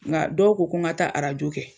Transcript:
Nka dɔw ko n ka taa arajo kɛ.